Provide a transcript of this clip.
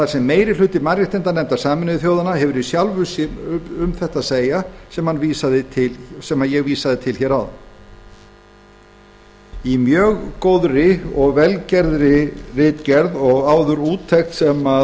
sem meiri hluti mannréttindanefndar sameinuðu þjóðanna hafi um þetta að segja sem ég vísaði til hér áðan í mjög góðri og vel gerðri ritgerð og áður úttekt sem